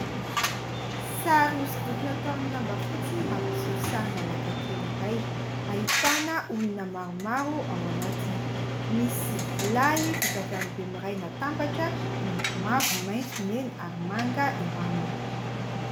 Sary hosodoko natao amin'ny lamba fotsy, mampiseho sarina lakan-kely iray ahitana olona maromaro ao anatiny. Misy lay vita avy amin'ny bemiray natambatra miloko mavo, maitso, mena ary manga eo aminy.